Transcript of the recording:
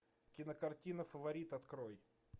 кинокартина фаворит открой